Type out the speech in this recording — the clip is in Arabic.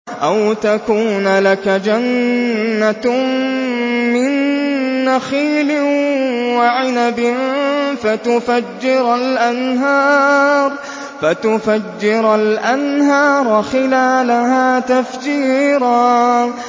أَوْ تَكُونَ لَكَ جَنَّةٌ مِّن نَّخِيلٍ وَعِنَبٍ فَتُفَجِّرَ الْأَنْهَارَ خِلَالَهَا تَفْجِيرًا